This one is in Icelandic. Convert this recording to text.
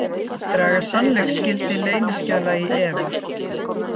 Draga sannleiksgildi leyniskjala í efa